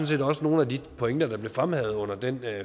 set også nogle af de pointer der blev fremhævet under den